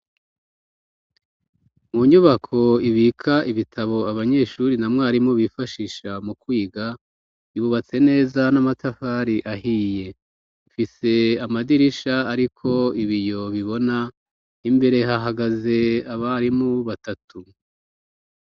Mu nyubako ibika ibitabo abanyeshuri na mwarimu bifashisha mu kwiga, yubatse neza n'amatafari ahiye, ifise amadirisha ariko ibiyo bibona, imbere hahagaze abarimu batatu.